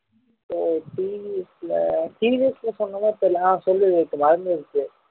ஓ TVS ல TVS சொன்னதா தெரியல ஆஹ் சொல்லு இப்ப மறந்துருச்சி